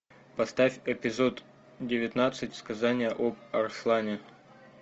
поставь эпизод девятнадцать сказание об арслане